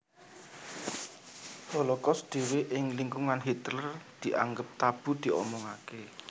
Holocaust dhéwé ing lingkungané Hitler dianggep tabu diomongaké